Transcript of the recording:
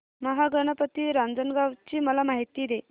महागणपती रांजणगाव ची मला माहिती दे